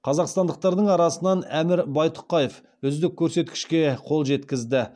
қазақстандықтардың арасынан әмір байтұқаев үздік көрсекішке қол жеткізді